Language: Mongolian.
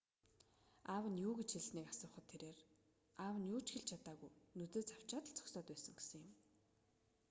аав нь юу гэж хэлснийг асуухад тэрээр аав нь юу ч хэлж чадаагүй нүдээ цавчаад л зогсоод байсан гэсэн юм